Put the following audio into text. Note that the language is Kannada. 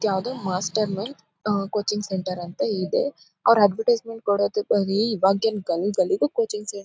ಯಾವುದೊ ಮಾಸ್ಟರ್ ನೂನ್ ಆ ಕೋಚಿಂಗ್ ಸೆಂಟರ್ ಅಂತೇ ಇದೆ. ಅವ್ರು ಅದ್ವೆರ್ಟಿಸೆಮೆಂಟ್ ಕೊಡೋದು ಬರೀ ಇವಾಗೇನು ಗಲ್ಲಿ ಗಲ್ಲಿಗೂ ಕೋಚಿಂಗ್ ಸೆಂಟರ್ --